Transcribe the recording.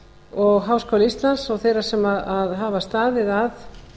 og háskóla íslands og þeirra sem hafa staðið að